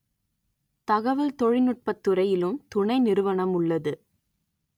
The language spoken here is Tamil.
தகவல் தொழில் நுட்பத்துறையிலும் துணை நிறுவனம் உள்ளது